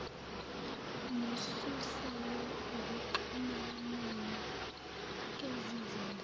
nosuselwe ekuxhumaneni kezizinda